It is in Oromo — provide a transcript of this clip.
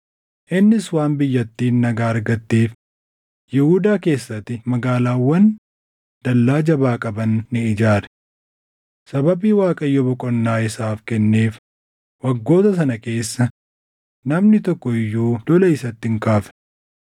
Innis waan biyyattiin nagaa argatteef Yihuudaa keessatti magaalaawwan dallaa jabaa qaban ni ijaare. Sababii Waaqayyo boqonnaa isaaf kenneef waggoota sana keessa namni tokko iyyuu lola isatti hin kaafne.